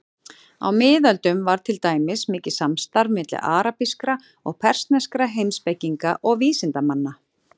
Á miðöldum var til dæmis mikið samstarf milli arabískra og persneskra heimspekinga og vísindamanna.